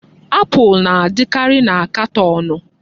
Apụl na-adịkarị na katọọnụ.